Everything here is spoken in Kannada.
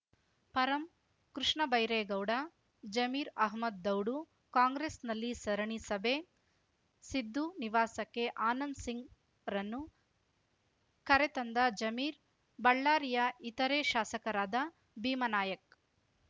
ಪರಂ ಕೃಷ್ಣ ಬೈರೇಗೌಡ ಜಮೀರ್‌ ಅಹಮದ್‌ ದೌಡು ಕಾಂಗ್ರೆಸ್‌ನಲ್ಲಿ ಸರಣಿ ಸಭೆ ಸಿದ್ದು ನಿವಾಸಕ್ಕೆ ಆನಂದ್‌ ಸಿಂಗ್‌ರನ್ನು ಕರೆ ತಂದ ಜಮೀರ್ ಬಳ್ಳಾರಿಯ ಇತರೆ ಶಾಸಕರಾದ ಭೀಮಾ ನಾಯಕ್‌